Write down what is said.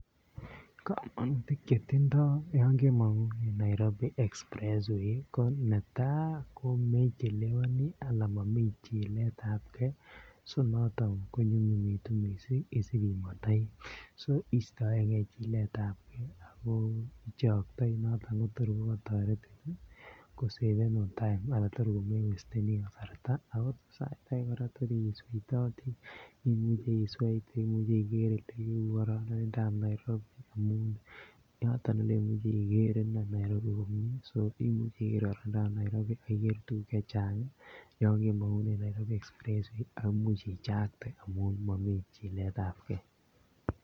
Komonutik Chetindoi yon kemongunen Nairobi express way ko netai ko me chelewani amun momi chilet ab ge so noton ko nyumnyumitu mising isib imondoi so istoenge chilet ab ge ako ichoktoi noton ko tor kokotoretin ko savenun time anan tor komewesteni kasarta ako tor sait age kora kotor imuche isweite imuche iger kororonindo ab Nairobi yoton inei Ole imuche iger inei Nairobi komie so imuche iker Nairobi ak iger kora tuguk Che Chang yon kemongunen Nairobi express way ako Imuch ichakte amun momi chilet ab ge